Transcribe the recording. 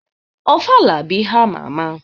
Ofala bụ ihe ama ama.